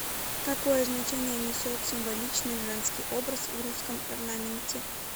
какое значение несет символичный женский образ в русском орнаменте